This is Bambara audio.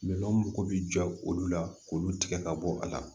mako bɛ jɔ olu la k'olu tigɛ ka bɔ a la